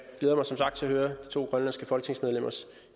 glæder mig som sagt til at høre de to grønlandske folketingsmedlemmers